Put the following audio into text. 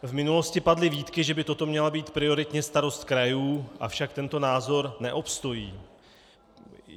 V minulosti padly výtky, že by toto měla být prioritně starost krajů, avšak tento názor neobstojí.